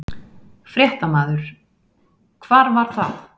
Fréttamaður: Hvar var það?